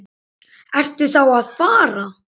Ertu þá að fara?